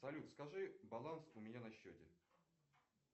салют скажи баланс у меня на счете